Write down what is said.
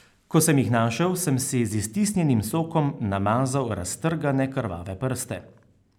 Ko sem jih našel, sem si z iztisnjenim sokom namazal raztrgane, krvave prste.